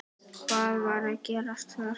Hvað var að gerast þar?